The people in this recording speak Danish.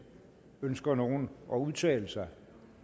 ønsker nogen at udtale sig